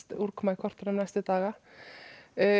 úrkoma í kortunum næstu daga